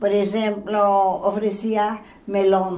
Por exemplo, oferecia melão.